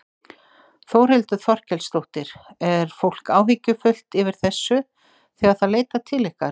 Þórhildur Þorkelsdóttir: Er fólk áhyggjufullt yfir þessu þegar það leitar til ykkar?